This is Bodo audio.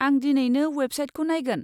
आं दिनैनो अवेबसाइटखौ नायगोन।